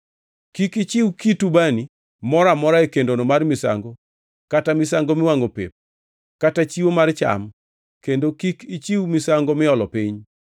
Kik ichiw kit ubani moro amora e kendono mar misango kata misango miwangʼo pep kata chiwo mar cham kendo kik ichiw misango miolo piny.